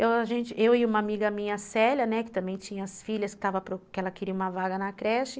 Eu e uma amiga minha, Célia, né, que também tinha as filhas, que ela queria uma vaga na creche.